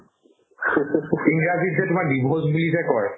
ইংৰাজীত যে তোমাৰ divorce বুলি যে কই